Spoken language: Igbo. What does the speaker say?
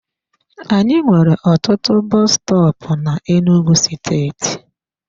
Anyị nwere ọtụtụ bọs stọọpu n'Enugwu steeti.